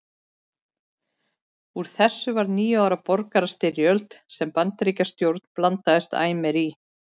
Úr þessu varð níu ára borgarastyrjöld sem Bandaríkjastjórn blandaðist æ meir í.